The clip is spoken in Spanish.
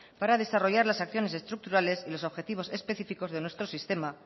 para desarrollar las acciones estructurales y los objetivos específicos de nuestro sistema